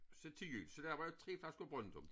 Så til jul så laver jeg 3 flasker Brøndum